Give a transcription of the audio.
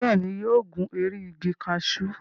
Bẹ́ẹ̀ ni, yóò gun orí igi kaṣú.